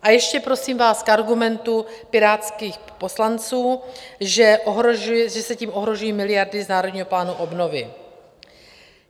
A ještě prosím vás k argumentu pirátských poslanců, že se tím ohrožují miliardy z Národního plánu obnovy.